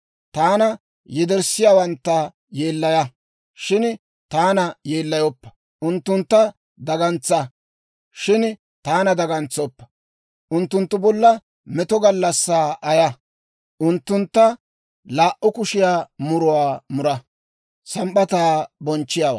Taana yederssiyaawantta yeellaya; shin taana yeellayoppa. Unttuntta dagantsa; shin taana dagantsoppa. Unttunttu bolla meto gallassaa ayaa; unttuntta laa"u kushiyaa muruwaa mura.